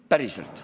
Päriselt.